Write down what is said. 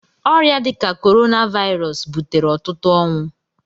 Ọrịa dị ka Corona Virus butere ọtụtụ ọnwụ.